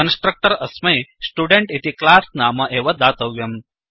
constructor अस्मै student इति class नाम एव दातव्यम्